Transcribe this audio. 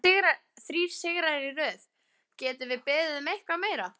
Þrír sigrar í röð, getum við beðið um eitthvað meira?